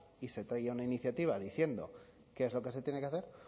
y se traiga una iniciativa diciendo qué es lo que se tiene que hacer